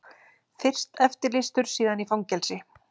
Fyrst eftirlýstur, síðan í fangelsi.